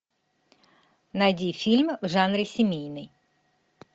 найди фильм в жанре семейный